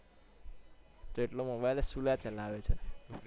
તો એટલો mobile જ શું કરવા ચલાવે છે.